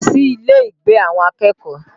Lọ sí ilé ìgbé àwọn akẹ́kọ̀ọ́!